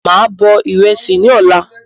Máa bọ̀ ìrẹsì ni ọ̀la